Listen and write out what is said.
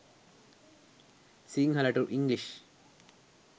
sinhala to english